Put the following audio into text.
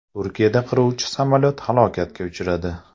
Turkiyada qiruvchi samolyot halokatga uchradi.